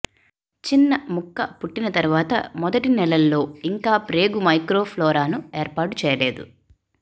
చిన్న ముక్క పుట్టిన తరువాత మొదటి నెలల్లో ఇంకా ప్రేగు మైక్రోఫ్లోరాను ఏర్పాటు చేయలేదు